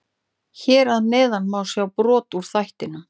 Hér að neðan má sjá brot úr þættinum.